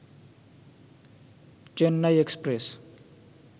Chennai express